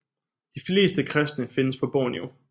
De fleste kristne findes på Borneo